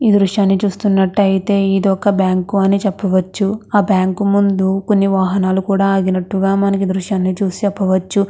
ఈ దృశ్యాన్ని చూస్తునట్టు అయతె ఇది ఒక బ్యాంకు అని చెప్పవచ్చు ఆ బ్యాంకు ముందు కొన్ని వాహనాలు కూడా ఆగినట్టు గా మనం ఈ దృశ్యాన్ని చూసి చేపవచ్చు.